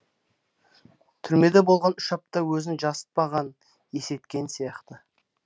түрмеде болған үш апта өзін жасытпаған есейткен сияқты